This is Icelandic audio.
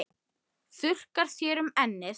Þurrkar þér um ennið.